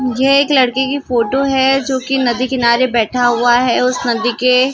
ये एक लड़के की फोटो हैं जो की नदी किनारे बैठा हुआ हैं उस नदी के।